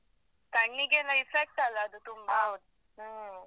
ಕಣ್ಣಿಗೆಯೆಲ್ಲ effect ಅಲ್ಲ ಅದು ತುಂಬಾ ಹ್ಮ್.